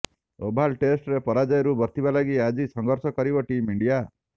Oval ଟେଷ୍ଟରେ ପରାଜୟରୁ ବର୍ତ୍ତିବା ଲାଗି ଆଜି ସଂଘର୍ଷ କରିବ ଟିମ୍ ଇଣ୍ଡିଆ